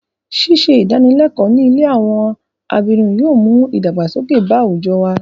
Ṣíṣe ìdánilẹ́kọ̀ọ́ ní ilé àwọn abirùn yóò mú ìdàgbàsókè bá àwùjọ wa.